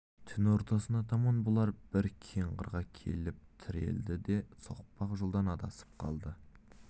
түн ортасына таман бұлар бір кең қырға келіп тірелді де соқпақ жолдан адасып қалды